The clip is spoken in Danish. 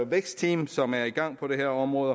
vækstteam som er i gang på det her område